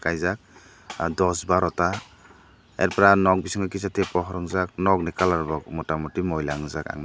kaijak dos baro ta ar pore aw nok bisingo pohor unjak nok ni kalar rok mota muti moila ung jagk ang.